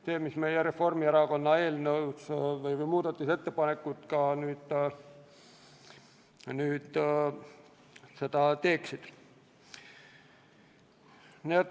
See oligi kirjas Reformierakonna eelnõus ja on nüüd meie muudatusettepanekutes.